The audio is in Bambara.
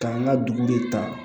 K'an ka dugu de ta